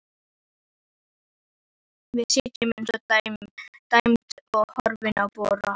Við sitjum eins og dæmd og horfum á Bróa.